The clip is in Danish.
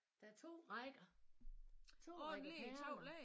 Der er 2 rækker 2 rækker perler